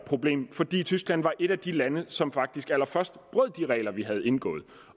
problemet fordi tyskland var et af de lande som faktisk allerførst brød de regler vi havde indgået